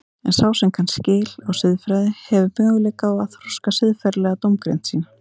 En sá sem kann skil á siðfræði hefur möguleika á að þroska siðferðilega dómgreind sína.